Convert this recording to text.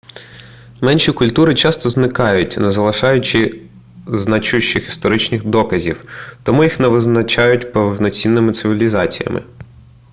менші культури часто зникають не залишаючи значущих історичних доказів тому їх не визнають повноцінними цивілізаціями